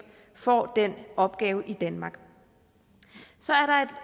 får den opgave i danmark så